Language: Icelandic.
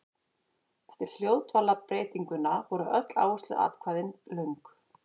Eftir hljóðdvalarbreytinguna voru öll áhersluatkvæði löng.